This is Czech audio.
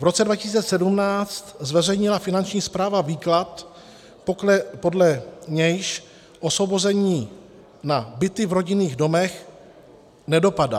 V roce 2017 zveřejnila Finanční správa výklad, podle nějž osvobození na byty v rodinných domech nedopadá.